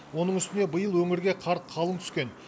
оның үстіне биыл өңірге қар қалың түскен